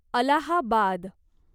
Allahabad